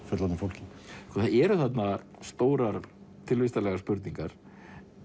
fullorðnu fólki það eru þarna stórar tilvistarlegar spurningar